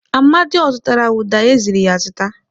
Amadị ọ zụtara ụda e ziri ya zụta?